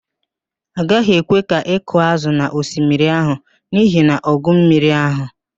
A gaghị ekwe ka ị kụọ ázụ̀ n'osmiri ahụ n'ihi ọgụ mmiri ahụ